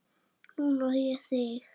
Núna á ég þig.